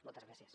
moltes gràcies